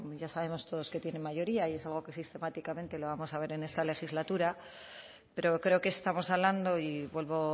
ya sabemos todos que tienen mayoría y es algo que sistemáticamente la vamos a ver en esta legislatura pero creo que estamos hablando y vuelvo